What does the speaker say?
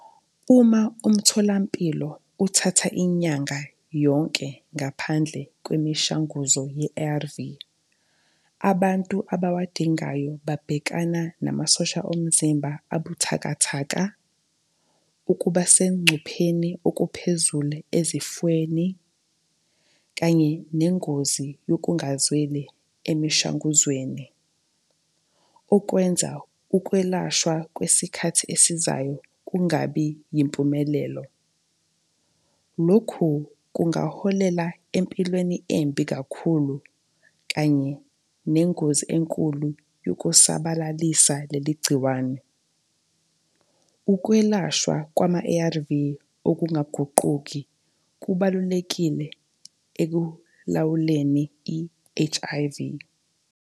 Uma umtholampilo uthatha inyanga yonke ngaphandle kwemishanguzo ye-A_R_V, abantu abawadingayo babhekana namasosha omzimba abuthakathaka, ukuba sengcupheni okuphezulu ezifweni, kanye nengozi yokungazweli emishanguzweni. Okwenza ukwelashwa kwesikhathi esizayo kungabi yimpumelelo. Lokhu kungaholela empilweni embi kakhulu kanye nengozi enkulu yokusabalalisa leli gciwane. Ukwelashwa kwama-A_R_V okungagququki kubalulekile ekulawuleni i-H_I_V.